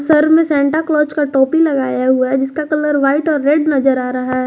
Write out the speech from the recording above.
Sir में Santa Claus का टोपी लगाया हुआ है जिसका कलर व्हाइट और रेड नजर आ रहा है।